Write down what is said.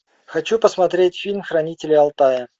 хочу посмотреть фильм хранители алтая